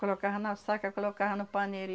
Colocava na saca, colocava no paneiro.